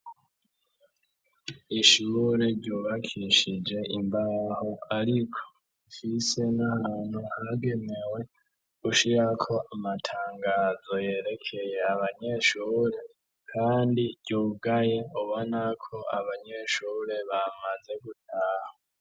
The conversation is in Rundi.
Ishure ryubakishije imbaho ariko fise n'ahantu hagebewe ushira ko amatangazo yerekeye abanyeshure kandi ryugaye ubona ko abanyeshure bamaze gutaha.